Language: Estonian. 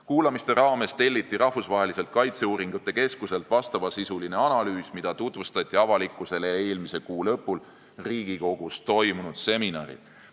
Kuulamiste raames telliti Rahvusvaheliselt Kaitseuuringute Keskuselt analüüs, mida tutvustati avalikkusele eelmise kuu lõpul Riigikogus toimunud seminaril.